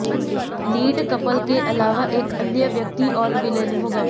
lead couple के अलावा एक अन्य व्यक्ति और विलेन होगा